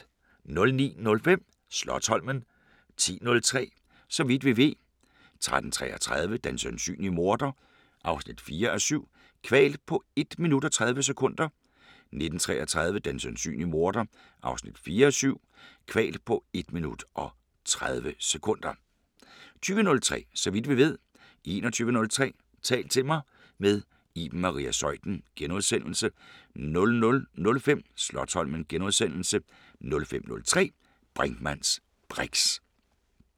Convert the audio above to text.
09:05: Slotsholmen 10:03: Så vidt vi ved 13:33: Den sandsynlige morder 4:7 – Kvalt på 1.30 min. 19:33: Den sandsynlige morder 4:7 – Kvalt på 1.30 min. * 20:03: Så vidt vi ved * 21:03: Tal til mig – med Iben Maria Zeuthen * 00:05: Slotsholmen * 05:03: Brinkmanns briks *